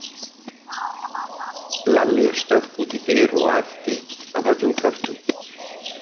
Lalli stökk út í dyr og æpti af öllum kröftum